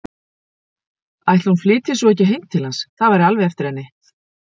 Ætli hún flytji svo ekki heim til hans, það væri alveg eftir henni.